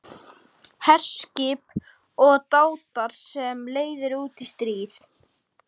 HERSKIP OG DÁTAR SEM LEIÐIR ÚT Í STRÍÐ